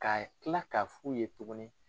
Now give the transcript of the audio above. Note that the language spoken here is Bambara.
Ka tila ka f'u ye tuguni.